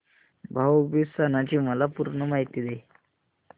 भाऊ बीज सणाची मला पूर्ण माहिती दे